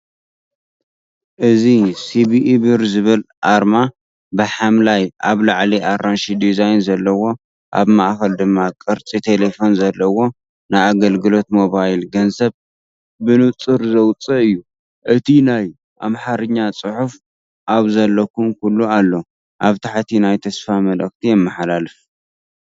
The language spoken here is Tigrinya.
እዚ “ሲቢኢ ብር” ዝብል ኣርማ፣ ብሐምላይ፣ ኣብ ላዕሊ ኣራንሺ ዲዛይን ዘለዎ፣ ኣብ ማእኸል ድማ ቅርጺ ቴሌፎን ዘለዎ፣ ንኣገልግሎት ሞባይል ገንዘብ ብንጹር ዝውክል እዩ። እቲ ናይ ኣምሓርኛ ጽሑፍ“ኣብ ዘለኩሞ ኩሉ አሎ”ኣብ ታሕቲ ናይ ተስፋ መልእኽቲ የመሓላልፍ።